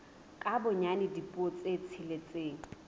ka bonyane dipuo tse tsheletseng